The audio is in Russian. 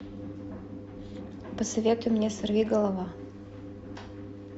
посоветуй мне сорвиголова